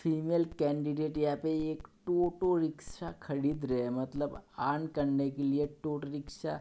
female candidate यहां पर एक टूटू रिक्शा खरीद रहे हैं मतलब अर्न करने के लिए टूटू रिक्शा --